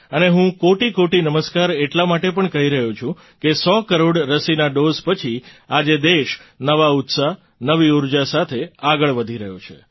અને હું કોટિકોટિ નમસ્કાર એટલા માટે પણ કહી રહ્યો છું કે સો કરોડ રસીના ડૉઝ પછી આજે દેશ નવા ઉત્સાહ નવી ઊર્જા સાથે આગળ વધી રહ્યો છે